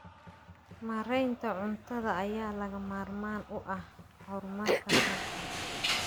Maareynta cunnada ayaa lagama maarmaan u ah horumarka dalka.